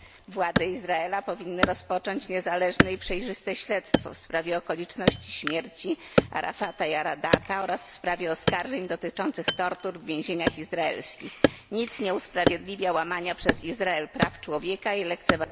Władze Izraela powinny rozpocząć niezależne i przejrzyste śledztwo w sprawie okoliczności śmierci Arafata Jaradata oraz w sprawie oskarżeń dotyczących tortur w więzieniach izraelskich. Nic nie usprawiedliwia łamania przez Izrael praw człowieka i lekceważenia